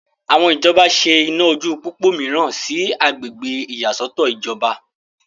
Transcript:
àwọn ìjọba ṣe iná ojú pópó mìíràn sí agbègbè ìyàsọ́tọ̀ ìjọba